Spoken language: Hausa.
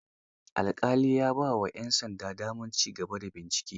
Alƙali ya ba wa 'yan sanda damar ci gaba bincike.